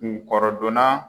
Kun kɔrɔdɔnna